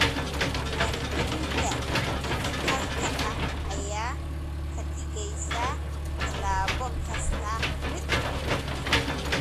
Diiwaangelinta dhijitaalka ah ayaa ka dhigaysa tallaabo kasta mid fudud.